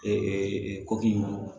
koki